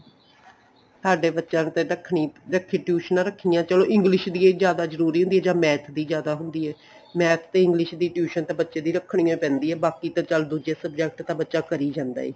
ਸਾਡੇ ਬੱਚਿਆਂ ਨੇ ਤਾਂ ਰੱਖਣੀ ਰੱਖੀ ਟੁਈਸ਼ਨਾ ਰੱਖੀਆਂ ਚਲੋ English ਦੀ ਇਹ ਜਿਆਦਾ ਜਰੂਰੀ ਹੁੰਦੀ ਜਾਂ math ਦੀ ਜਿਆਦਾ ਹੁੰਦੀ ਏ math ਤੇ English ਦੀ tuition ਤਾ ਬੱਚੇ ਦੀ ਰੱਖਣੀ ਓ ਪੈਂਦੀ ਏ ਬਾਕੀ ਤਾਂ ਚੱਲ ਦੂਜੇ subject ਤਾਂ ਬੱਚਾ ਕਰੀ ਜਾਂਦਾ ਏ